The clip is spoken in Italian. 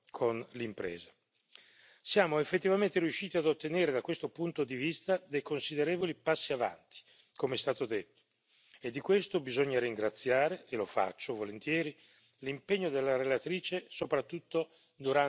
Siamo effettivamente riusciti ad ottenere, da questo punto di vista, dei considerevoli passi avanti, come è stato detto, e di questo bisogna ringraziare, e lo faccio volentieri, l'impegno della relatrice soprattutto durante il lunghissimo trilogo.